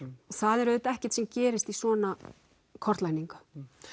og það er auðvitað ekkert sem gerist í svona kortlagningu